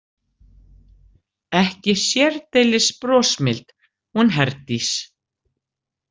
Ekki sérdeilis brosmild hún Herdís.